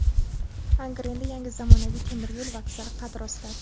Angrenda yangi zamonaviy temir yo‘l vokzali qad rostladi.